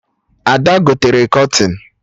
Ada gotere kọtịn